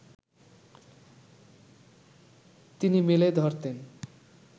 তিনি মেলে ধরতেন